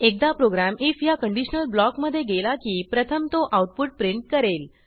एकदा program I F ह्या conditional ब्लॉकमधे गेला की प्रथम तो आऊटपुट प्रिंट करेल